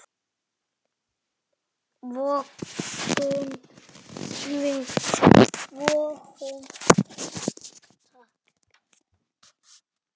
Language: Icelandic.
Vogun vinnur, vogun tapar.